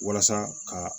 Walasa ka